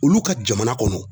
Olu ka jamana kɔnɔ